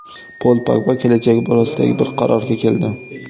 Pol Pogba kelajagi borasida bir qarorga keldi.